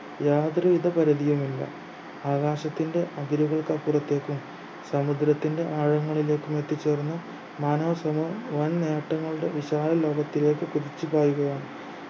യാതൊരുവിധ പരിധിയുമില്ല ആകാശത്തിന്റെ അതിരുകൾക്കപ്പുറത്തേക്കും സമുദ്രത്തിന്റെ ആഴങ്ങളിലേക്കും എത്തിച്ചേരുന്ന നാനാ സ്വഭാവ വൻ നേട്ടങ്ങളുടെ വിശാല ലോകത്തിലേക്ക് കുതിച്ചു കയറുകയാണ്